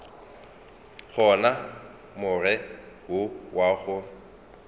gona more wo wa go